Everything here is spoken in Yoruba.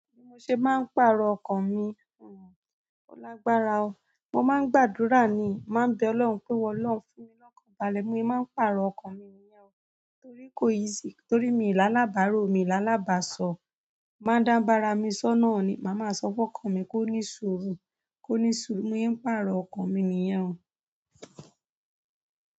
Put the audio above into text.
Bi mo ṣe máa ń pàrọ̀ ọkàn mi, ò, ó lágbára o. Mo máa ń gbàdúrà ni, màá n bẹ Ọlọ́run pé, "Olọ́run fún mi lọ́kàn, balẹ̀ mo yi máa ń pàrọ̀ ọkàn mi nìyẹn o, torí kò ì yí sì torí mi là lábàárò, mi là lábàsọ̀. Má dà bá rami sọ́ nàa o ni, màá máa sọ fún ọkàn mi kó ní ṣurù, kó ní ṣurù, bíi mo se ń pàrọ̀ ọkàn mi nìyẹn o."